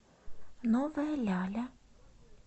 новая ляля